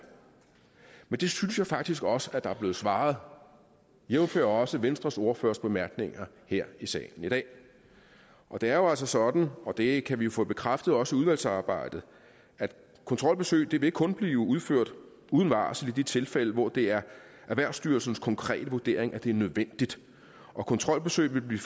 men det synes jeg faktisk også at der er blevet svaret jævnfør også venstres ordførers bemærkninger her i salen i dag det er jo altså sådan og det kan vi få bekræftet også i udvalgsarbejdet at kontrolbesøg vil kun blive udført uden varsel i de tilfælde hvor det er erhvervsstyrelsens konkrete vurdering at det er nødvendigt og kontrolbesøg vil blive